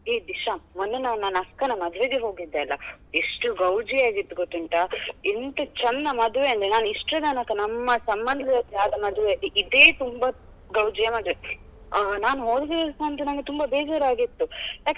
ಹೇ ದಿಶಾ ಮೊನ್ನೆ ನಾನ್ ನನ್ನ ಅಕ್ಕನ ಮದುವೆಗೆ ಹೋಗಿದ್ದೆ ಅಲ ಎಷ್ಟು ಗೌಜಿ ಆಗಿತ್ತು ಗೊತ್ತುಂಟಾ ಎಂತ ಚಂದ ಮದ್ವೆ ಅಂದ್ರೆ ನಾನ್ ಇಷ್ಟರ ತನಕ ನಮ್ಮ ಸಂಬಂಧದಲ್ಲಿ ಆದ ಮದ್ವೆ ಅಲ್ಲಿ ಇದೇ ತುಂಬ ಗೌಜಿಯ ಮದ್ವೆ ಆಹ್ ನಾನ್ ತುಂಬ ಬೇಜಾರ್ ಆಗಿತ್ತು.